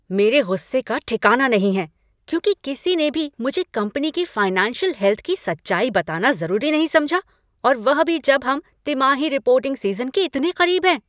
मेरे गुस्से का ठिकाना नहीं है, क्योंकि किसी ने भी मुझे कंपनी की फ़ाइनेंशियल हेल्थ की सच्चाई बताना ज़रूरी नहीं समझा और वह भी जब हम तिमाही रिपोर्टिंग सीज़न के इतने करीब हैं।